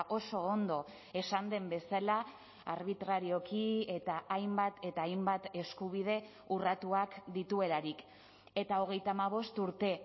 oso ondo esan den bezala arbitrarioki eta hainbat eta hainbat eskubide urratuak dituelarik eta hogeita hamabost urte